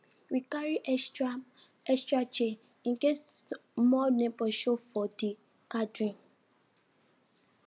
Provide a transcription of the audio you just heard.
we carry extra extra chair in case more neighbors show face for the gathering